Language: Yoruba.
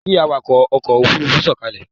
Kí awakọ̀ ọkọ̀ Òfurufú sọ̀kalẹ̀!